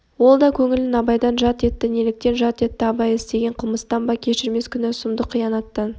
ол да көңілін абайдан жат етті неліктен жат етті абай істеген қылмыстан ба кешірмес кінә-сұмдық қиянаттан